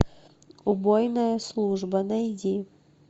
убойная служба найди